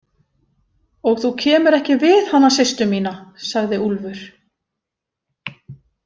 Og þú kemur ekki við hana systur mína, sagði Úlfur.